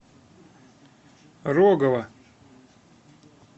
рогова